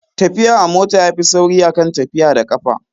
Tafiya a mota yafi sauri a kan tafiya da ƙafa